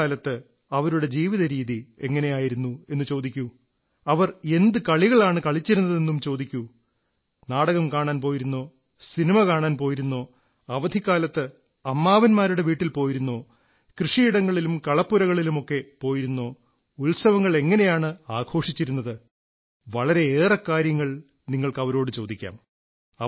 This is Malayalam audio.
കുട്ടിക്കാലത്ത് അവരുടെ ജീവിത രീതി എങ്ങനെയായിരുന്നു എന്നു ചോദിക്കൂ അവർ എന്തു കളികളാണ് കളിച്ചിരുന്നതെന്നു ചോദിക്കൂ നാടകം കാണാൻ പോയിരുന്നോ സിനിമ കാണാൻ പോയിരുന്നോ അവധിക്കാലത്ത് അമ്മാവൻമാരുടെ വീട്ടിൽ പോയിരുന്നോ കൃഷിയിടങ്ങളിലും കളപ്പുരകളിലുമൊക്കെ പോയിരുന്നോ ഉത്സവങ്ങൾ എങ്ങനെയാണ് ആഘോഷിച്ചിരുന്നത് വളരെയേറെ കാര്യങ്ങൾ നിങ്ങൾക്ക് അവരോടു ചോദിക്കാം